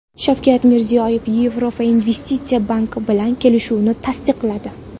Shavkat Mirziyoyev Yevropa investitsiya banki bilan kelishuvni tasdiqladi.